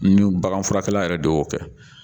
Ni baganfurakɛla yɛrɛ de y'o kɛ